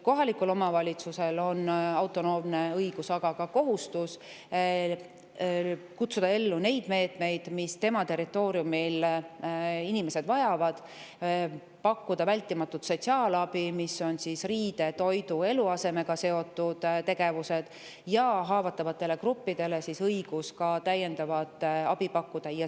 Kohalikul omavalitsusel on autonoomne õigus, aga ka kohustus kutsuda ellu neid meetmeid, mida tema territooriumil inimesed vajavad, pakkuda vältimatut sotsiaalabi, mis tähendab riiete, toidu ja eluasemega seotud tegevusi, ja haavatavatele gruppidele on õigus ka täiendavat abi pakkuda.